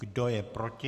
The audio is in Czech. Kdo je proti?